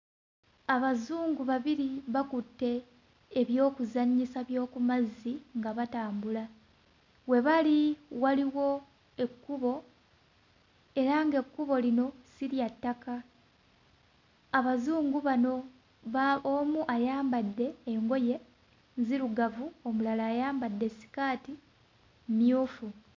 Abazungu babiri bakutte eby'okuzannyisa by'oku mazzi nga batambula. We bali waliwo ekkubo era nga ekkubo lino si lya ttaka. Abazungu bano ba omu ayambadde engoye nzirugavu omulala ayambadde ssikaati mmyufu.